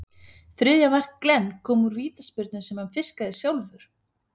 Þriðja mark Glenn kom úr vítaspyrnu sem hann fiskaði sjálfur.